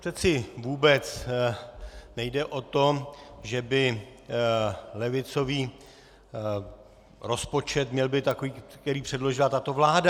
Přeci vůbec nejde o to, že by levicový rozpočet měl být takový, který předložila tato vláda.